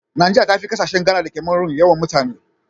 Nigeria tafi kasashe Ghana da Cameron yawan mutane.